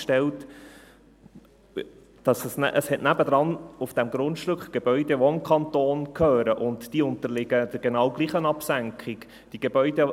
Es hat daneben auf diesem Grundstück Gebäude, die auch dem Kanton gehören, und diese unterliegen der genau gleichen Absenkung.